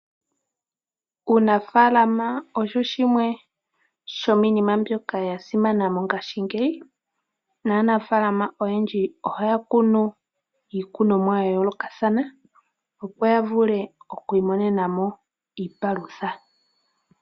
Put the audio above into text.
Uunafaalama osho shimwe shomiinima mbyoka ya simana mongashingeyi naanafaalama oyendji ohaya kunu iikunomwa ya yoolokathana, opo ya vule oku imonena mo iipalutha.